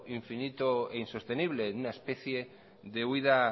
infinito e insostenible en una especie de huida